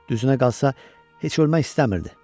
Düzünə qalsa, heç ölmək istəmirdi.